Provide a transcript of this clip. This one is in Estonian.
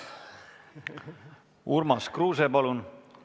Urmas Kruuse, palun!